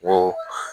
Ko